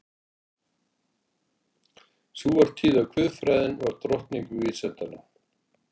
Sú var tíð að guðfræðin var drottning vísindanna.